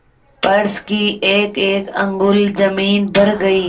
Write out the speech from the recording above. फर्श की एकएक अंगुल जमीन भर गयी